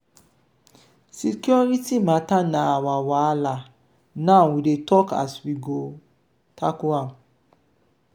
security mata na our wahala now we dey talk as we go tackle am.